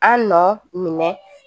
An nɔ minɛ